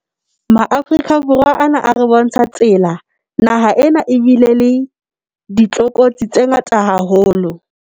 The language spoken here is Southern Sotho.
MaAforika Borwa ana a re bontsha tsela. Naha ena ebile le ditlokotsi tse ngata haholo.